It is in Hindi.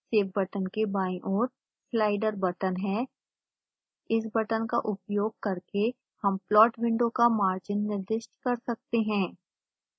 सेव बटन के बायीं ओर slider बटन है इस बटन का उपयोग करके हम प्लॉट विंडो का मार्जिन निर्दिष्ट कर सकते हैं